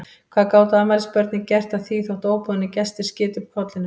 Hvað gátu afmælisbörnin gert að því þó að óboðnir gestir skytu upp kollinum?